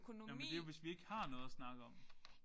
Jamen det er jo hvis vi ikke har noget at snakke om